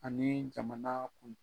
Ani jamana kun